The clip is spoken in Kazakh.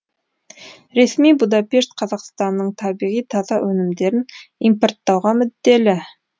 ресми будапешт қазақстанның табиғи таза өнімдерін импорттауға мүдделі